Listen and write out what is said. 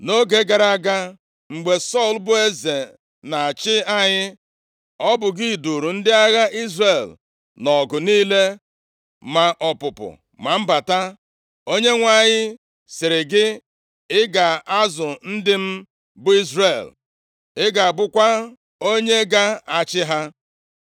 Nʼoge gara aga, mgbe Sọl bụ eze na-achị anyị, ọ bụ gị duuru ndị agha Izrel nʼọgụ niile, ma ọpụpụ ma mbata. Onyenwe anyị sịrị gị, ‘Ị ga-azụ ndị m, bụ Izrel, ị ga-abụkwa onye ga-achị ha.’ ”